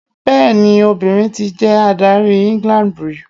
Bẹẹni, obìnrin ti jẹ adárí England rí.